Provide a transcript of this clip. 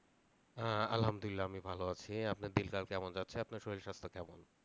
হ্যাঁ, আলহামদুলিল্লাহ আমি ভালো আছি আপনার দিনকাল কেমন যাচ্ছে? আপনার শরীর স্বাস্থ্য কেমন?